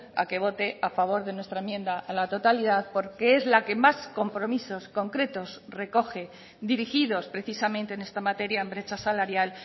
a que vote a favor de nuestra enmienda a la totalidad porque es la que más compromisos concretos recoge dirigidos precisamente en esta materia en brecha salarial